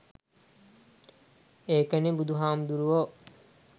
ඒකනෙ බුදු හාමුදුරුවො